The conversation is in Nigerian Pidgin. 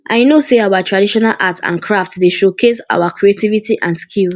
i know say our traditional art and craft dey showcase our creativity and skill